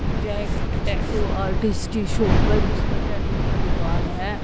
यह एक tattoo artist की शॉप है जिसमें टैटू की दुकान है।